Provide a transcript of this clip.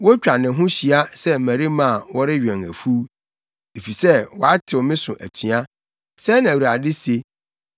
Wotwa ne ho hyia sɛ mmarima a wɔrewɛn afuw, efisɛ watew me so atua,’ ” sɛɛ na Awurade se.